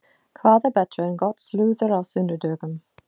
Hvað er betra en gott slúður á sunnudögum?